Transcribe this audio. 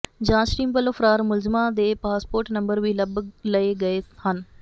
ਜਾਂਚ ਟੀਮ ਵੱਲੋਂ ਫਰਾਰ ਮੁਲਜ਼ਮਾਂ ਦੇ ਪਾਸਪੋਰਟ ਨੰਬਰ ਵੀ ਲੱਭ ਲਏ ਗਏ ਹਨ